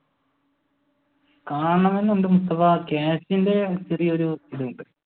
കാണണമെന്നുണ്ട് മുസ്തഫ കാശിന്റെ ചെറിയ ഒരു ഇതുണ്ട്.